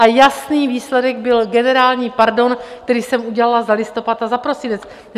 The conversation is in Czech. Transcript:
A jasný výsledek byl generální pardon, který jsem udělala za listopad a za prosinec.